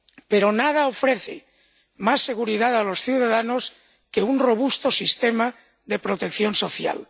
Pero nada ofrece más seguridad a los ciudadanos que un robusto sistema de protección social.